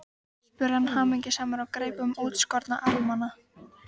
spurði hann hamingjusamur og greip um útskorna armana.